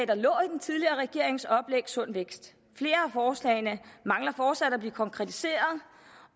der lå i den tidligere regerings oplæg sund vækst flere af forslagene mangler fortsat at blive konkretiseret